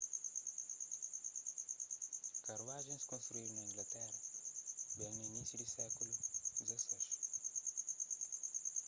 karuajens konstruídu na inglatera ben na inisiu di sékulu xvi